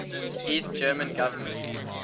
east german government